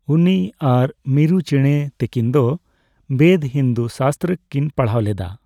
ᱩᱱᱤ ᱟᱨ ᱢᱤᱨᱩ ᱪᱮᱲᱮ ᱛᱟᱹᱠᱤᱱ ᱫᱚ ᱵᱮᱫ, ᱦᱤᱱᱫᱩ ᱥᱟᱥᱛᱨᱚ ᱠᱤᱱ ᱯᱟᱲᱦᱟᱣᱞᱮᱫᱟ ᱾